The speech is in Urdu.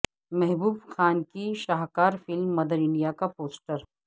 محبوب خان کی شاہکار فلم مدر انڈیا کا پوسٹر